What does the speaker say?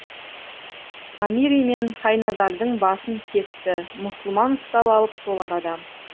ғамири мен хайназардың басын кесті мұсылман ұстап алып сол арада